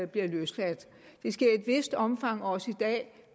bliver løsladt det sker i et vist omfang også i dag